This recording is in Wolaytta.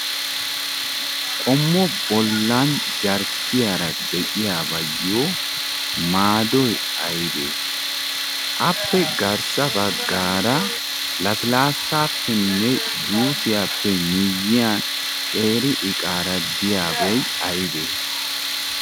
Qommo bollan jarkkiyaara de'iyaabayyo maaddoy aybee? Appe garssa baggaara lassilaassapenne juussiyappe miyyiyaan qeeri iqaara de'iyabay aybee?